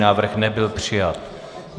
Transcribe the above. Návrh nebyl přijat.